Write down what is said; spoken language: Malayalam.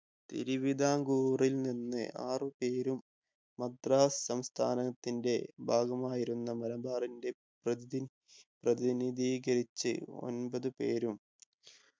തിരുവിതാംകൂറിൽ നിന്ന് ആറുപേരും മദ്രാസ് സംസ്ഥാനത്തിന്റെ ഭാഗമായിരുന്ന മലബാറിന്റെ പ്രതിൻ പ്രതിനിധീകരിച് ഒൻപത് പേരും